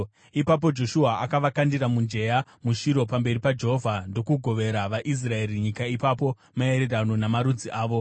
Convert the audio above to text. Ipapo Joshua akavakandira mujenya muShiro pamberi paJehovha, ndokugovera vaIsraeri nyika ipapo maererano namarudzi avo.